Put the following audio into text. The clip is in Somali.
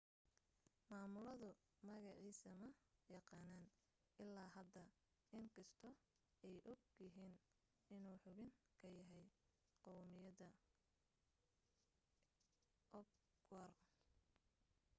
maamuladu magaciisa ma yaqaaniin ilaa hadda in kastoo ay og yihiin inuu xubin ka yahay qawmiyadda uighur